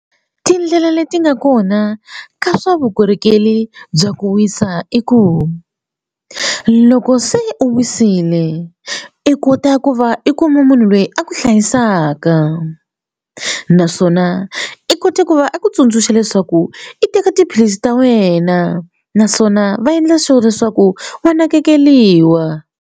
Tindlela leti nga kona ka swa vukorhokeri bya ku wisa i ku loko se u wisile i kota ku va i kuma munhu loyi a ku hlayisaka naswona i kote ku va a ku tsundzuxa leswaku i teka tiphilisi ta wena naswona va endla sure leswaku va nakekeliwa.